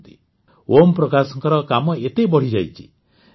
ଓମପ୍ରକାଶଙ୍କର କାମ ଏତେ ବଢ଼ିଯାଇଛି ଯେ ସେ କୋଡ଼ିଏରୁ ଅଧିକ ଲୋକଙ୍କୁ ଚାକିରି ଦେଇପାରିଛନ୍ତି